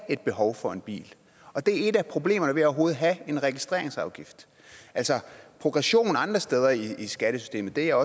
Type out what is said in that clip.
et behov for en bil og det er et af problemerne ved overhovedet at have en registreringsafgift altså progressionen andre steder i skattesystemet er